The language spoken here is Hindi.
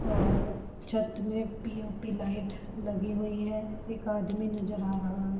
और छत में पी_ओ_पी लाइट लगी हुई हैं। एक आदमी नजर आ रहा है।